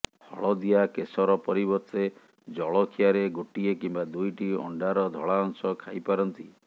ହଳଦିଆ କେଶର ପରିବର୍ତ୍ତେ ଜଳଖିଆରେ ଗୋଟିଏ କିମ୍ବା ଦୁଇଟି ଅଣ୍ଡାର ଧଳା ଅଂଶ ଖାଇପାରନ୍ତି